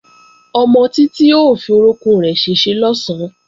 Ọmọ Títí ó fi orókún rẹ̀ ṣèṣe lọ̀sán